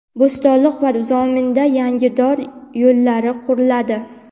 Bo‘stonliq va Zominda yangi dor yo‘llari quriladi.